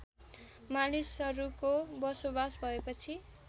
मानिसहरूको बसोबास भएपछि